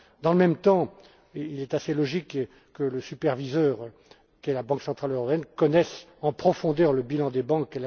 Dans le même temps, il est assez logique que le superviseur qu'est la Banque centrale européenne connaisse elle même en profondeur le bilan des banques.